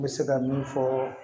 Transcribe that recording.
N bɛ se ka min fɔ